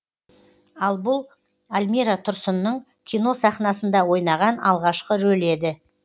ал бұл альмира тұрсынның кино сахнасында ойнаған алғашқы рөлі еді